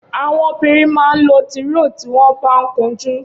Awọn óbìrín mà n ló tìróò tiwọn bà n kúnjù